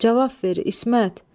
Cavab ver İsmət.